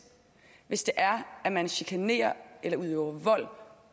hvis det er at man chikanerer eller udøver vold